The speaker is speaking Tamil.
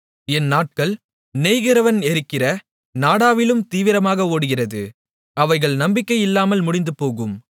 என் நாட்கள் நெய்கிறவன் எறிகிற நாடாவிலும் தீவிரமாக ஓடுகிறது அவைகள் நம்பிக்கையில்லாமல் முடிந்துபோகும்